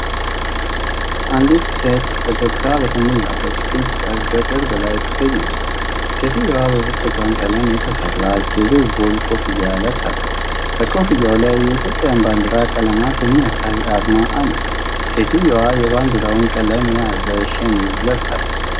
አንዲት ሴት ፈገግታ በተሞላበት ፊት በቅርብ ላይ ትገኛለች። ሴትየዋ በብርቱካን ቀለም የተሠራች የቤዝቦል ኮፍያ ለብሳለች። ከኮፍያው ላይ የኢትዮጵያን ባንዲራ ቀለማት የሚያሳይ አርማ አለ። ሴትየዋም የባንዲራውን ቀለም የያዘ ሸሚዝ ለብሳለች።